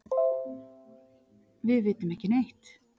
Við vitum ekki neitt.